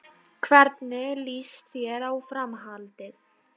Hann pírði augun upp í himinhvolfið.